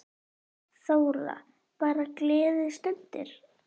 Þóra: Bara gleðistundir?